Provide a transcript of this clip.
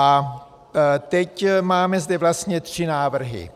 A teď máme zde vlastně tři návrhy.